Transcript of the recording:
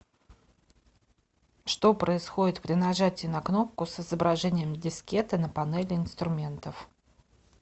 что происходит при нажатии на кнопку с изображением дискеты на панели инструментов